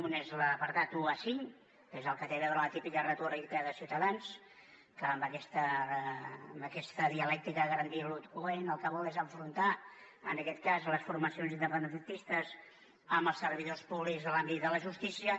un és l’apartat un a cinc que és el que té a veure amb la típica retòrica de ciutadans que amb aquesta dialèctica grandiloqüent el que vol és enfrontar en aquest cas les formacions independentistes amb els servidors públics de l’àmbit de la justícia